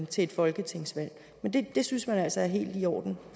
til et folketingsvalg men det det synes man altså er helt i orden